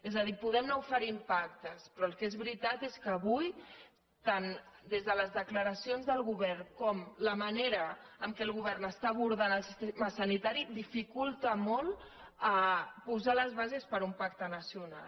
és a dir podem anar oferint pactes però el que és ve·ritat és que avui tant des de les declaracions del go·vern com la manera en què el govern està abordant el sistema sanitari dificulten molt posar les bases per a un pacte nacional